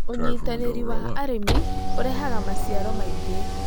ũnyitanĩri wa arĩmi ũrehaga maciaro maingĩ